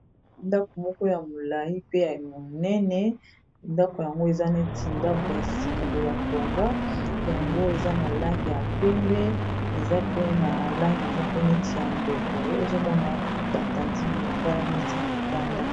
Ndako moko ya molayi pe ya monene ndako yango eza neti ndako ya sika batonga yango eza na langi ya pembe eza pe na langi moko neti ya mbwe boye ozomona batandi bilambala neti na libanda.